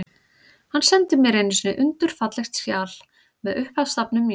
Hann sendi mér einu sinni undur fallegt sjal, með upphafsstafnum mínum.